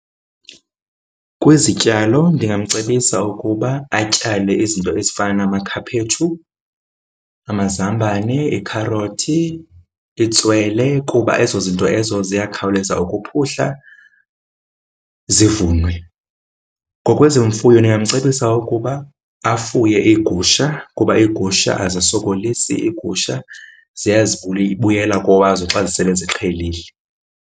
Kwizityalo ndingamcebisa ukuba atyale izinto ezifana namakhaphetshu, amazambane, ikharothi, itswele kuba ezo zinto ezo ziyakhawuleza ukuphuhla, zivunwe. Ngokwezemfuyo ndingamcebisa ukuba afuye iigusha kuba iigusha azisokolisi, iigusha buyela kowazo xa sele ziqhelile.